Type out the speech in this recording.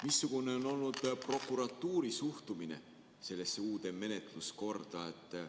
Missugune on olnud prokuratuuri suhtumine sellesse uude menetluskorda?